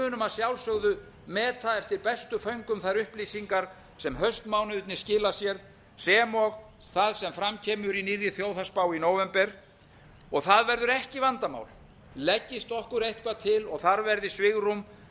munum að sjálfsögðu meta eftir bestu föngum þær upplýsingar sem haustmánuðirnir skila sér sem og það sem fram kemur í nýrri þjóðhagsspá í nóvember og það verður ekki vandamál leggist okkur eitthvað til og þar verði svigrúm